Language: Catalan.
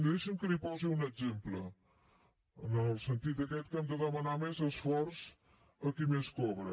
i deixi’m que li’n posi un exemple en el sentit aquest que hem de demanar més esforç a qui més cobra